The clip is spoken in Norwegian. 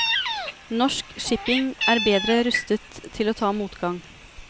Norsk shipping er bedre rustet til å ta motgang.